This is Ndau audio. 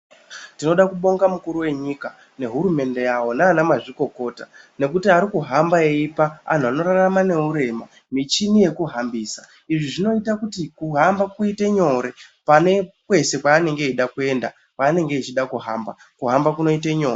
Tinode kubonga mukuru wenyika nehurumende yawo nana mazvikokota ngekuti arikuhamba eipa vantu vanorarama nehurema michini yekuhambisa, izvi zvinoite kuti kuhamba kuite nyore pane kwese kwaanenge eida kuenda kwaanenge echida kuhamba, kuhamba kunoite nyore.